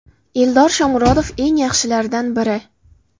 Eldor Shomurodov eng yaxshilardan biri.